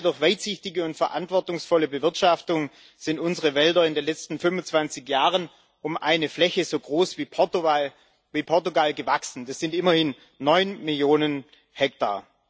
Gerade durch weitsichtige und verantwortungsvolle Bewirtschaftung sind unsere Wälder in den letzten 25 Jahren um eine Fläche so groß wie Portugal gewachsen. Das sind immerhin neun Millionen Hektar.